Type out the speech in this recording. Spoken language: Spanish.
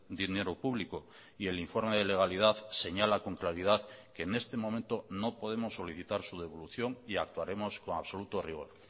dinero público y el informe de legalidad señala con claridad que en este momento no podemos solicitar su devolución y actuaremos con absoluto rigor